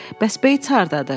Bəs Beyts hardadır?